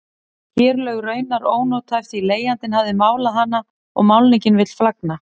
Kerlaug raunar ónothæf því leigjandi hafði málað hana og málningin vill flagna.